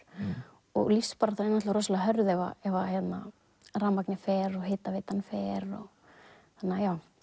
og lífsbaráttan er rosalega hörð ef ef að rafmagnið fer og hitaveitan fer þannig að